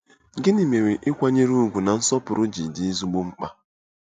Gịnị mere ịkwanyere ùgwù na nsọpụrụ ji dị ezigbo mkpa?